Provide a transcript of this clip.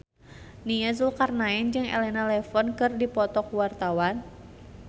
Nia Zulkarnaen jeung Elena Levon keur dipoto ku wartawan